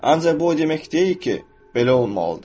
Ancaq bu o demək deyil ki, belə olmalıdır.